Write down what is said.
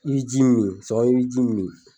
I bi ji min i b'i ji min